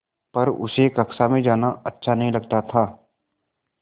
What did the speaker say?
पर उसे कक्षा में जाना अच्छा नहीं लगता था